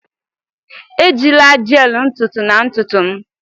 Ejila gel ntutu na ntutu m!